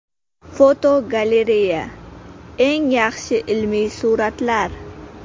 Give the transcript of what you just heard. Fotogalereya: Eng yaxshi ilmiy suratlar.